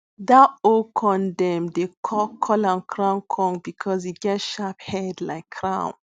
that old corndem dey call call am crown corn because e get sharp head like crown